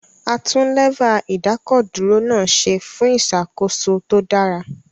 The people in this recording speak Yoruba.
A tún Lẹ́fà ìdákọ̀dúró náà ṣe fún ìṣàkóso tó dára